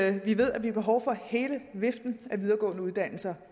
at vi ved vi har behov for hele viften af videregående uddannelser